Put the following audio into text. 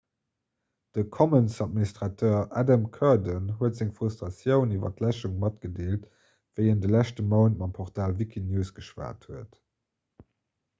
de commons-administrateur adam cuerden huet seng frustratioun iwwer d'läschung matgedeelt wéi en de leschte mount mam portal wikinews geschwat huet